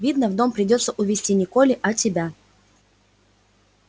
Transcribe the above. видно в дом придётся увести не колли а тебя